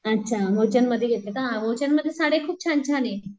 अच्छा मूलचंदमध्ये घेतले का ? मुलचंदमध्ये साड्या खूप छान छाने.